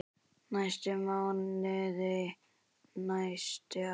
næstu mánuði, næstu ár.